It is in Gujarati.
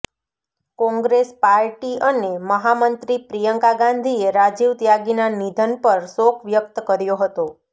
કોંગ્રેસ પાર્ટી અને મહામંત્રી પ્રિયંકા ગાંધીએ રાજીવ ત્યાગીના નિધન પર શોક વ્યક્ત કર્યો હતો